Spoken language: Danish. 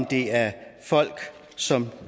det er folk som